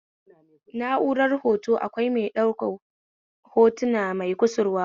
Na'urar hota akwai mai ɗaukar hotuna mai kusurwa uku